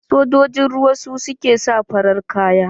Sojojin Ruwa su ke sa farar kaya.